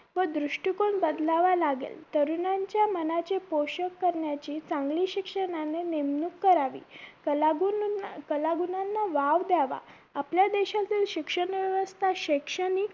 व दृष्टीकोन बदलावा लागेल तरुणांच्या मनाची पोषक करण्याची चांगली शिक्षणाने नेमणूक करावी कलागुणन कलागुणांना वाव द्यावा आपल्या देशातील शिक्षण व्यवस्था शैक्षणिक